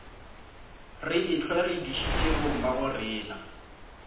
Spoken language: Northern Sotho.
re ehlwa re dišitše bommagorena